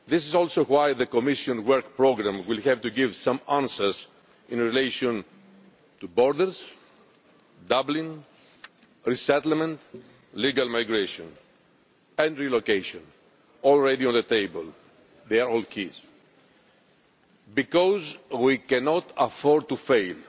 This is also why the Commission work programme will have to give some answers in relation to borders, Dublin, resettlement, legal migration and relocation already on the table. They are all key, because we cannot afford to fail.